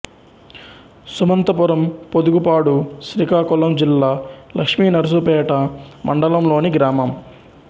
Sumanthapuram Podugupadu Srikakulam జిల్లా లక్ష్మీనర్సుపేట మండలం లోని గ్రామం